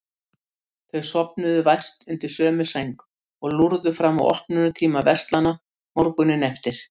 Þau sofnuðu vært undir sömu sæng, og lúrðu fram að opnunartíma verslana morguninn eftir.